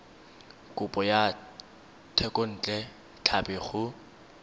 kopo ya thekontle tlhapi go